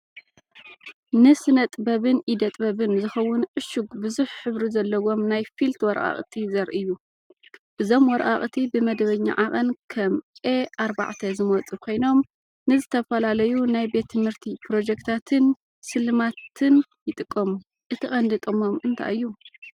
ንስነጥበብን ኢደ ጥበብን ዝኸውን ዕሹግ ብዙሕ ሕብሪ ዘለዎም ናይ ፊልት ወረቓቕቲ ዘርኢ እዩ። እዞም ወረቓቕቲ ብመደበኛ ዓቐን ከም A4 ዝመጹ ኮይኖም ንዝተፈላለዩ ናይ ቤት ትምህርቲ ፕሮጀክትታትን ስልማትን ይጥቀሙ፣ እቲ ቀንዲ ጥቕሞም እንታይ እዩ?